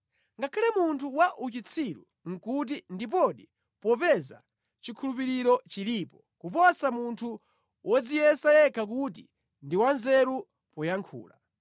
Ngakhale munthu wa uchitsiru nʼkuti ndiponi popeza chikhulupiriro chilipo kuposa munthu wodziyesa yekha kuti ndi wanzeru poyankhula.